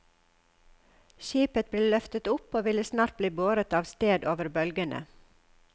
Skipet ble løftet opp og ville snart bli båret av sted over bølgene.